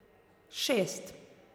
Šest.